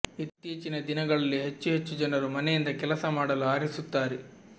ಇತ್ತೀಚಿನ ದಿನಗಳಲ್ಲಿ ಹೆಚ್ಚು ಹೆಚ್ಚು ಜನರು ಮನೆಯಿಂದ ಕೆಲಸ ಮಾಡಲು ಆರಿಸುತ್ತಾರೆ